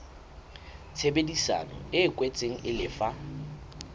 tshebedisano e kwetsweng e lefa